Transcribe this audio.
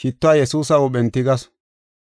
shittuwa Yesuusa huuphen tigasu. Albasxiroosa